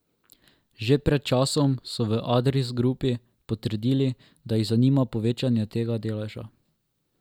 Že pred časom so v Adris Grupi potrdili, da jih zanima povečanje tega deleža.